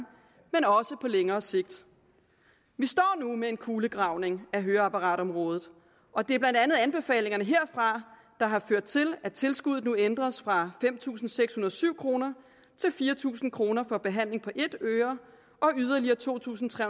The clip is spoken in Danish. men også på længere sigt vi står nu med en kulegravning af høreapparatområdet og det er blandt andet anbefalingerne herfra der har ført til at tilskuddet nu ændres fra fem tusind seks hundrede og syv kroner til fire tusind kroner for behandling af et øre og yderligere to tusind tre